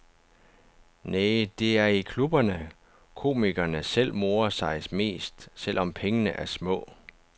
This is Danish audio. Næh, det er i klubberne, komikerne selv morer sig mest, selv om pengene er små.